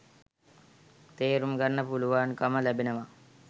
තේරුම්ගන්න පුළුවන්කම ලැබෙනවා